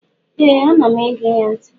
Ee anam ege ya nti